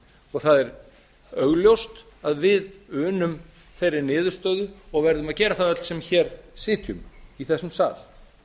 og það er augljóst að við unum þeirri niðurstöðu og verðum að gera það öll sem hér sitjum í þessum sal